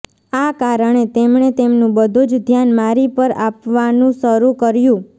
આ કારણે તેમણે તેમનું બધુજ ધ્યાન મારી પર આપવાનું શરૂ કર્યું